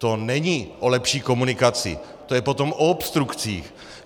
To není o lepší komunikaci, to je potom o obstrukcích.